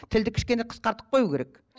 тілді кішкене қысқартып қою керек